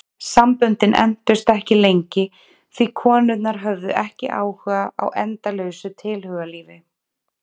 Samböndin entust ekki lengi því konurnar höfðu ekki áhuga á endalausu tilhugalífi.